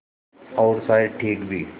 और शायद ठीक भी